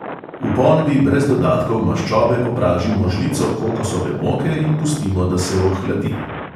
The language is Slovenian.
V ponvi brez dodatkov maščobe popražimo žlico kokosove moke in pustimo, da se ohladi.